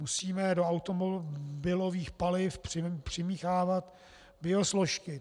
Musíme do automobilových paliv přimíchávat biosložky.